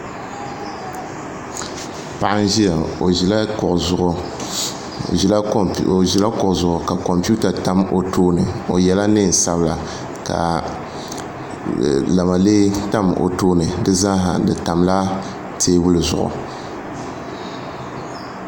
Paɣa n ʒiya ŋo o ʒila kuɣu zuɣu ka kompiuta tam o tooni o yɛla neen sabila ka lamalee tam o tooni di zaa ha di tamla teebuli zuɣu